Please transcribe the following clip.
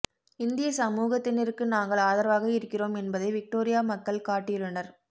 இந்திய சமூகத்தினருக்கு நாங்கள் ஆதரவாக இருக்கிறோம் என்பதை விக்டோரியா மக்கள் காட்டியுள்ளனர்